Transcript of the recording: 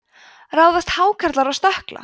ráðast hákarlar á stökkla